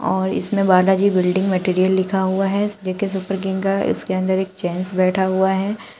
और इसमें Balaji building material लिखा हुआ है। जे_के सुपर किंग का और इसके अंदर एक जेंट्स बैठा हुआ है।